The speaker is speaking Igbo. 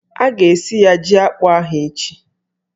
A ga-esi ya jí akpụ ahụ echi